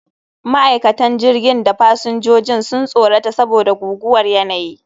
Ma'aikatan jirgin da fasinjojin sun tsorata saboda guguwar yanayi